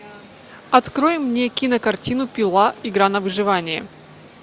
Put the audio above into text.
открой мне кинокартину пила игра на выживание